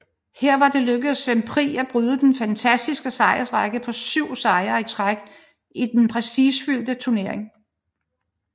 Her var det lykkedes Svend Pri at bryde den fantastiske sejrsrække på syv sejre i træk i den prestigefyldte turnering